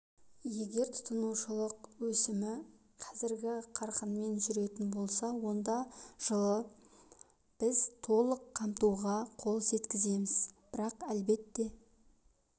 егер тұтынушылық өсімі қазіргі қарқынмен жүретін болса онда жылы біз толық қамтуға қол жеткіземіз бірақ әлбетте